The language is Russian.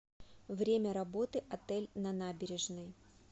время работы отель на набережной